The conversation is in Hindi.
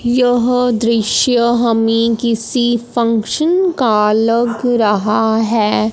यह दृश्य हमें किसी फंक्शन का लग रहा है।